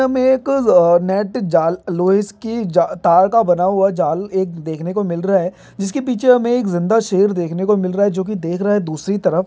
हमे एक लो नेट जाल लोहैस की जा तार का बना हुआ जाल एक देखने को मिल रहा है जिसके पीछे हमे एक जिन्दा शेर देखने को मिल रहा है जो की देख रहा है दूसरी तरफ--